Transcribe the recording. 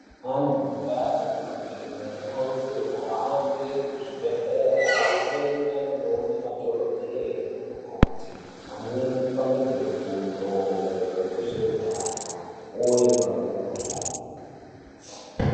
Vantu mundau dzatinobva vanokurudzirwa kuhamba muzvibhehlera amweni anonona madhokodheya nanamukoti vopangidzwe fundo maererano nezveutano vodzoka vorapa mikuhlani.